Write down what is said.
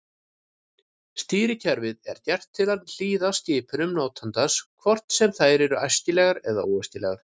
Stýrikerfið er gert til að hlýða skipunum notandans hvort sem þær eru æskilegar eða óæskilegar.